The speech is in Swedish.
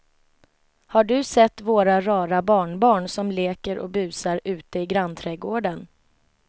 Har du sett våra rara barnbarn som leker och busar ute i grannträdgården!